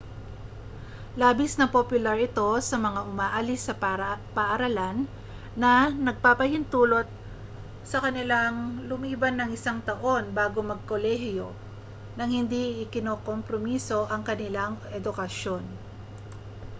labis na popular ito sa mga umaalis sa paaralan na nagpapahintulot sa kanilang lumiban ng isang taon bago magkolehiyo nang hindi ikinokompromiso ang kanilang edukasyon